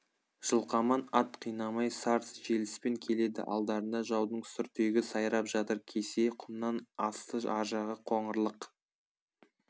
жылқаман ат қинамай сар желіспен келеді алдарында жаудың сүрдегі сайрап жатыр кесе құмнан асты аржағы қоңырлық